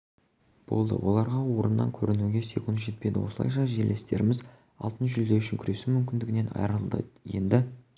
болды оларға орыннан көрінуге секунд жетпеді осылайша жерлестеріміз алтын жүлде үшін күресу мүмкіндігінен айырылды енді